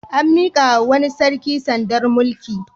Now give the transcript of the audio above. An miƙawa wani sarki sandar mulki.